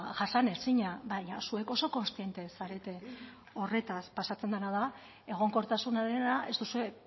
jasanezina baina zuek oso kontziente zarete horretaz pasatzen dena da egonkortasunarena ez duzue